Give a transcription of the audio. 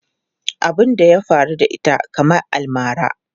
Abun da ya faru da ita kamar almara.